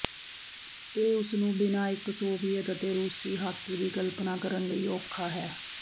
ਇਹ ਉਸ ਨੂੰ ਬਿਨਾ ਇੱਕ ਸੋਵੀਅਤ ਅਤੇ ਰੂਸੀ ਹਾਕੀ ਦੀ ਕਲਪਨਾ ਕਰਨ ਲਈ ਔਖਾ ਹੈ